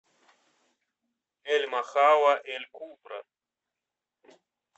эль махалла эль кубра